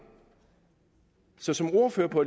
så som ordfører på